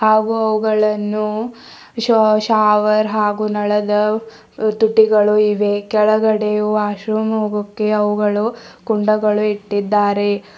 ಹಾಗು ಅವುಗಳನ್ನು ಶೊ ಶಾವರ್ ಹಾಗು ನಳದ ತುಟಿಗಳು ಇವೆ ಕೆಳಗಡೆಯು ವಾಶ್ ರೂಮ್ ಹೋಗೋಕೆ ಅವುಗಳು ಕುಂಡಗಳು ಇಟ್ಟಿದ್ದಾರೆ.